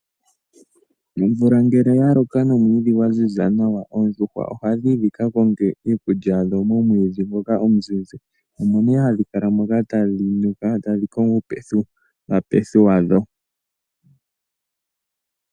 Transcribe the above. Omvula ngele yaloko nomwiidhi gwa ziza nawa ,Oondjuhwa Oha dhiyi dhika konge iikulya momwiidhi ngoka omuzizi. Oha dhi kala momomwiidhi moka tadhi kongo uupethipethi wadho